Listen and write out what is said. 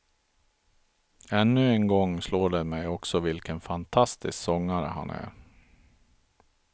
Ännu en gång slår det mig också vilken fantastisk sångare han är.